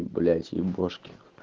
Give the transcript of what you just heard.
блять ебошки